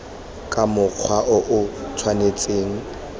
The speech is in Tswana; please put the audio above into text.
ka mokgwa o o tshwanetseng